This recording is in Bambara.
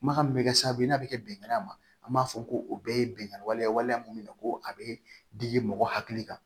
Kumakan min bɛ kɛ sababu ye n'a bɛ kɛ bɛnkan ma an b'a fɔ ko o bɛɛ ye bɛnkan waleya waleya mun ye ko a bɛ digi mɔgɔ hakili kan